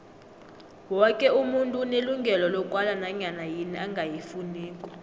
woke umuntu unelungelo lokwala nanyana yini angayifuniko